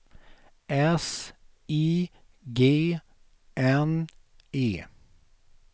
S I G N E